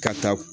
Ka taa